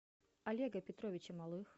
олега петровича малых